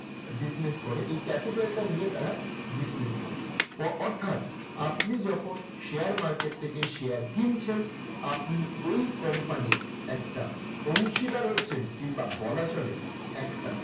business করে। এই capital টা নিয়ে তারা business করে। অ অর্থাৎ আপনি যখন share market থেকে share কিনছেন, আপনি ওই company র একটা অংশীদার হচ্ছেন। কিংবা বলা চলে একটা